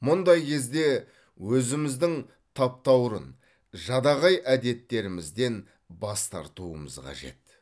мұндай кезде өзіміздің таптаурын жадағай әдеттерімізден бас тартуымыз қажет